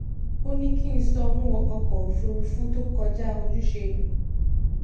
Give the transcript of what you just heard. ó ní kí n sanwó ọkọ òfuurufú tó kọjá ojúṣe mi